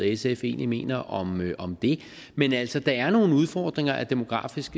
sf egentlig mener om om det men altså der er nogle udfordringer af demografisk